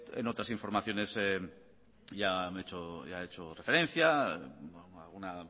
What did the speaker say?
en otras informaciones ya han hecho referencia alguna